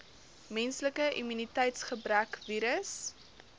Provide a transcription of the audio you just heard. menslike immuniteitsgebrekvirus